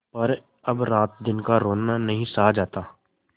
पर अब रातदिन का रोना नहीं सहा जाता